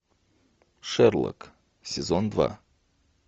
шерлок сезон два